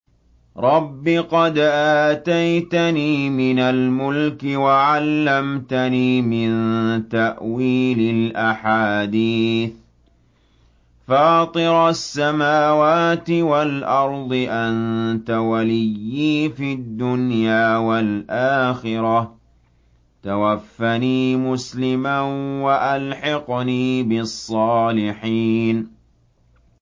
۞ رَبِّ قَدْ آتَيْتَنِي مِنَ الْمُلْكِ وَعَلَّمْتَنِي مِن تَأْوِيلِ الْأَحَادِيثِ ۚ فَاطِرَ السَّمَاوَاتِ وَالْأَرْضِ أَنتَ وَلِيِّي فِي الدُّنْيَا وَالْآخِرَةِ ۖ تَوَفَّنِي مُسْلِمًا وَأَلْحِقْنِي بِالصَّالِحِينَ